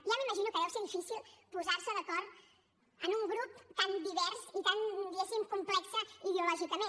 ja m’imagino que deu ser difícil posarse d’acord en un grup tan divers i tan diguéssim complex ideològicament